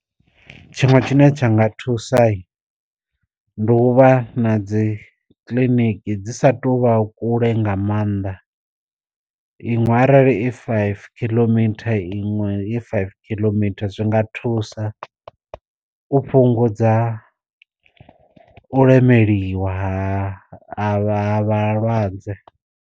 Tshiṅwe tshine tsha nga thusa ndi u vha na dzi kiḽiniki dzi sa tu vha kule nga maanḓa, iṅwe arali i five killometer iṅwe, i five killometer zwi nga thusa u fhungudza u lemeliwa ha ha vha ha vhalwadze.